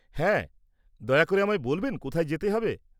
হ্যাঁ, দয়া করে আমায় বলবেন কোথায় যেতে হবে?